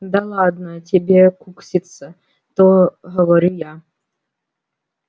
да ладно тебе кукситься то говорю я